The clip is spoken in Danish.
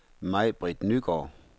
Maj-Britt Nygaard